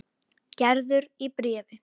Gerður í bréfi.